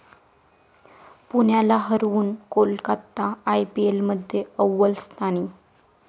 पुण्याला हरवून कोलकाता आयपीएलमध्ये अव्वल स्थानी